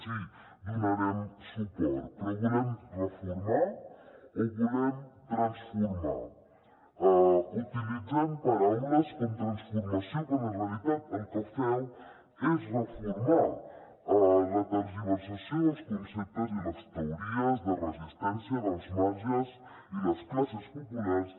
sí hi donarem suport però volem reformar o volem transformar utilitzeu paraules com transformació quan en realitat el que feu és reformar la tergiversació dels conceptes i les teories de resistència dels marges i les classes populars